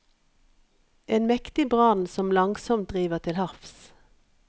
En mektig brann som langsomt driver til havs.